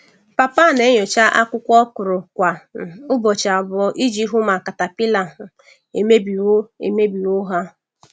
Papa na-enyocha akwụkwọ okra kwa um ụbọchị abụọ iji hụ ma caterpillar um emebiwo emebiwo ha.